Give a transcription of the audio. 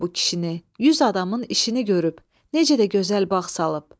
Sağ olsun bu kişini, yüz adamın işini görüb, necə də gözəl bağ salıb.